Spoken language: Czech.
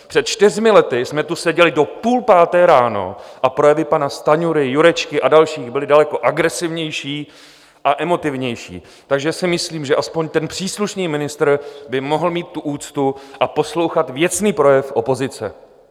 Před čtyřmi lety jsme tu seděli do půl páté ráno a projevy pana Stanjury, Jurečky a dalších byly daleko agresivnější a emotivnější, takže si myslím, že aspoň ten příslušný ministr by mohl mít tu úctu a poslouchat věcný projev opozice.